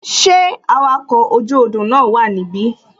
Ṣé awakọ̀ oju odò na wa nibi?